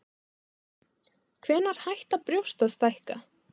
Hvenær hætta brjóst að stækka?